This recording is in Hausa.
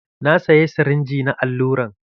Na saya sirinji na alluran.